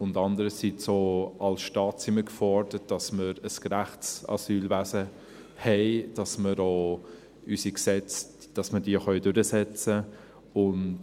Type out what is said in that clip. Und andererseits, auch als Staat sind wir gefordert, dass wir ein gerechtes Asylwesen haben, dass wir unsere Gesetze auch durchsetzen können.